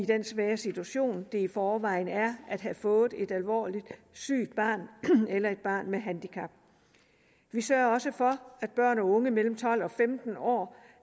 den svære situation det i forvejen er at have fået et alvorligt sygt barn eller et barn med handicap vi sørger også for at børn og unge mellem tolv og femten år